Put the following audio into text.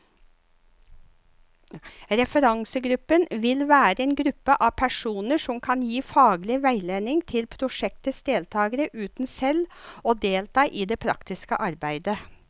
Referansegruppen vil være en gruppe av personer som kan gi faglig veiledning til prosjektets deltagere, uten selv å delta i det praktiske arbeidet.